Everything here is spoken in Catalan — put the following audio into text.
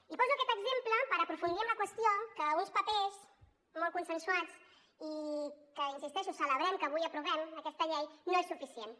i poso aquest exemple per aprofundir en la qüestió que uns papers molt consensuats i que hi insisteixo celebrem que avui aprovem aquesta llei no són suficients